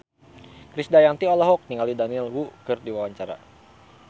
Krisdayanti olohok ningali Daniel Wu keur diwawancara